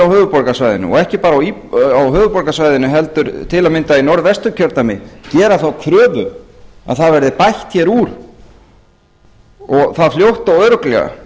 höfuðborgarsvæðinu ekki bara á höfuðborgarsvæðinu heldur til að mynda í norðvesturkjördæmi gera þá kröfu að það verði bætt hér úr og það fljótt og örugglega